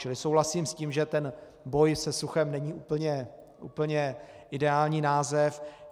Čili souhlasím s tím, že ten boj se suchem není úplně ideální název.